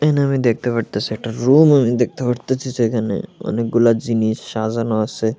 এখানে আমি দেখতে পারতাসি একটা রুম আমি দেখতে পারতাসি যেখানে অনেকগুলা জিনিস সাজানো আছে।